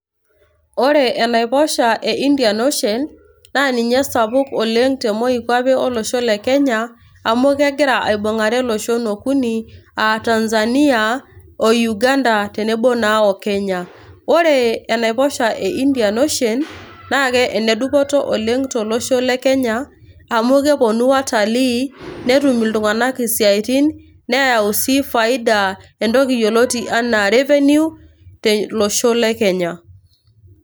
Ore enaiposha e Indian ocean naa ninye esapuk oleng te moikwape olosho le Kenya amu kegira aibungare iloshon okuni aa Tanzania,o Uganda ,tenebo naa oKenya .ore enaiposha e Indian ocean naa ke enedupoto oleng tolosho le Kenya amu keponu watalii ,netum iltunganak isiatin ,neyau sii faida entoki yioloti anaa revenue tolosho le Kenya.